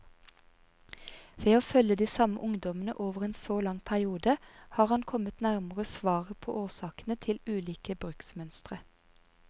Ved å følge de samme ungdommene over en så lang periode, har han kommet nærmere svaret på årsakene til ulike bruksmønstre.